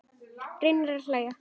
Reyni að hlæja.